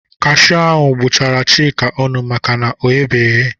Kashiu ahụ gbụchara Chika ọnụ maka na ọ gheghị eghe.